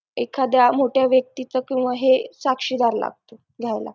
एखाद्या मोठ्या व्यक्तीचा किंवा साक्षीदार लागत घ्यायला